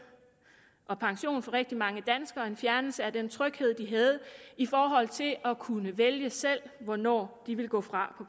og pension for rigtig mange danskere en fjernelse af den tryghed de havde i forhold til at at kunne vælge selv hvornår de ville gå fra